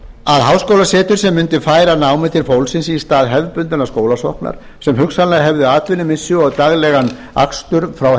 að háskólasetur sem mundi færa námið til fólksins í stað hefðbundinnar skólasóknar sem hugsanlega hefði atvinnumissi og daglegan akstur frá